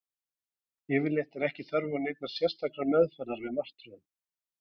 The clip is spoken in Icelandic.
Yfirleitt er ekki þörf neinnar sérstakrar meðferðar við martröðum.